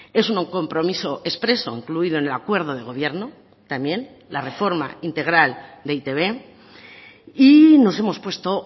es un compromiso expreso incluido en el acuerdo de gobierno también la reforma integral de e i te be y nos hemos puesto